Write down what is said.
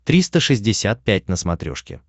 триста шестьдесят пять на смотрешке